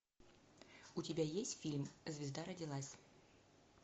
у тебя есть фильм звезда родилась